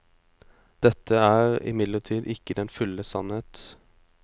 Dette er imidlertid ikke den fulle sannhet.